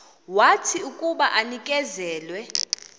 wathi akuba enikezelwe